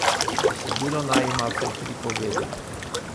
Besedilo naj ima vsaj tri povedi.